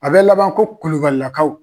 A bɛ laban ko kubalilakaw .